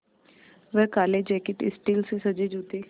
वह काले jacket steel से सजे जूते